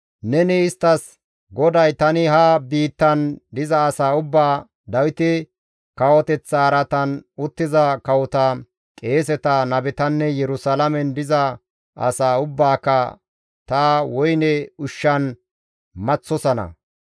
neni isttas, ‹GODAY tani ha biittan diza asaa ubbaa, Dawite kawoteththa araatan uttiza kawota, qeeseta, nabetanne Yerusalaamen diza asaa ubbaaka ta woyne ushshan maththosana.